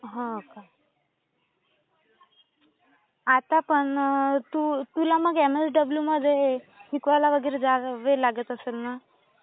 हो का. आता पण तू... तुला मग एमएसडब्ल्यूमध्ये शिकवायला वगैरे जावे लागत असेल ना.